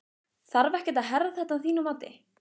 Þarf ekkert að herða þetta að þínu mati?